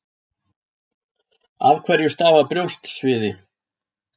af hverju stafar brjóstsviði